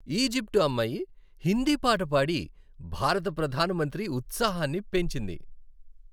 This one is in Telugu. ఈజిప్టు అమ్మాయి హిందీ పాట పాడి భారత ప్రధాన మంత్రి ఉత్సాహాన్ని పెంచింది.